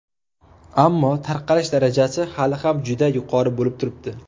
Ammo tarqalish darajasi hali ham juda yuqori bo‘lib turibdi.